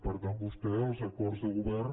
per tant vostè els acords de govern